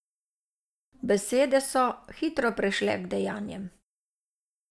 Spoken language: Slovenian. Besede so hitro prešle k dejanjem.